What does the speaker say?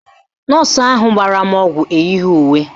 Nọọsụ ahụ gbara m ọgwụ eyighi uwe